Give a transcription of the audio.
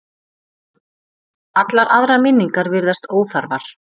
Allar aðrar minningar virðast óþarfar.